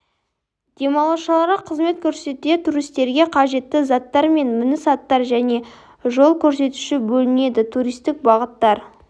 демалушыларға қызмет көрсетуде туристерге қажетті заттар мен мініс аттар және жол көрсетуші бөлінеді туристік бағыттар